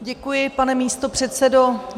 Děkuji, pane místopředsedo.